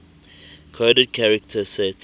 coded character set